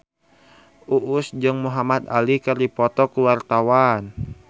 Uus jeung Muhamad Ali keur dipoto ku wartawan